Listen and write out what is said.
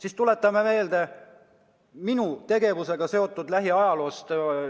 Aga tuletan meelde ühe asja, mis on seotud minu hiljutise tegevusega.